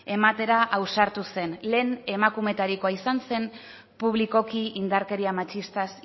ematera ausartu zen lehen emakumetarikoa izan zen publikoki indarkeria matxistaz